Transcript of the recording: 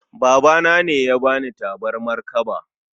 Babana ne ya bani tabarmar kaba